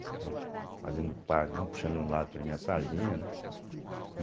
fazendo o Parque, não puxando um lado para minha sardinha, né?